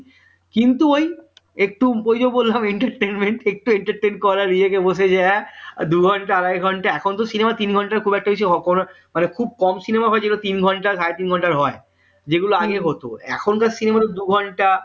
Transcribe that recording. একটু ঐযে বললাম entertainment একটু entertained করার ই কে বলছে হ্যাঁ দুঘণ্টা আড়াই ঘন্টা এখন তো cinema তিন ঘন্টার খুব একটা বেশি খুব কম cinema তিন ঘণ্টা সাড়ে তিন ঘন্টার হয় যেগুলো আগে হতো এখনকার cinema দুঘণ্টা